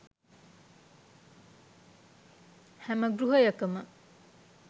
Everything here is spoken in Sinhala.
හැම ගෘහයකම